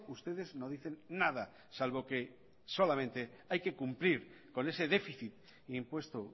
ustedes no dicen nada salvo que solamente hay que cumplir con ese déficit impuesto